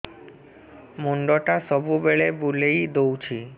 ମୁଣ୍ଡଟା ସବୁବେଳେ ବୁଲେଇ ଦଉଛି